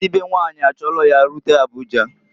Ndi be nwanyị achọlụ ya rute Abuja.